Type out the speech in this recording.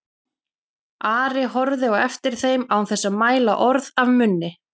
Ari horfði á eftir þeim án þess að mæla orð af munni.